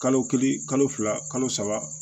Kalo kelen kalo fila kalo saba